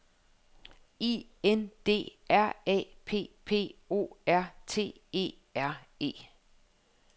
I N D R A P P O R T E R E